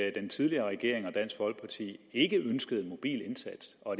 at den tidligere regering og dansk folkeparti ikke ønskede en mobil indsats og